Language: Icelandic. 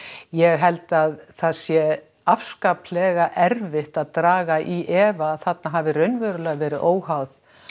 ég held að það sé afskaplega erfitt að draga í efa að þarna hafi raunverulega verið óháð